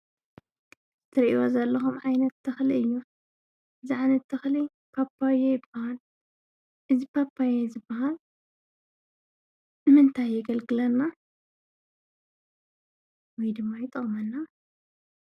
ትርእይዎ ዘለኹም ዓይነት ተኽሊ እዩ። እዚ ዓይነት ተኽሊ ፓፓዮ ይባሃል ።እዚ ፓፓዮ ዝባሃል ንምንታይ የገልግለና ወይ ድማ ይጠቕመና?